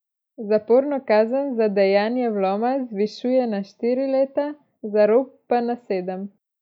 Zaporno kazen za dejanje vloma zvišuje na štiri leta, za rop pa na sedem.